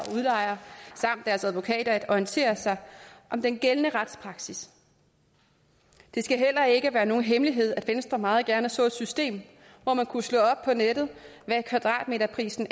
udlejere samt deres advokater at orientere sig om den gældende retspraksis det skal heller ikke være nogen hemmelighed at venstre meget gerne så et system hvor man kunne slå op på nettet hvad kvadratmeterprisen